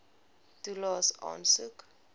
toelaes aansoek